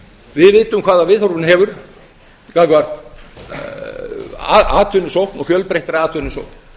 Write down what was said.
við vitum hvaða viðhorf hún hefur gagnvart atvinnusókn og fjölbreyttri atvinnusókn